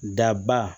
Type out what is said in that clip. Daba